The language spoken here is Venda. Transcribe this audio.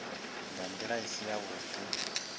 nga ndila i si yavhudi